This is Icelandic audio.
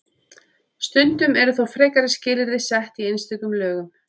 Stundum eru þó frekari skilyrði sett í einstökum lögum.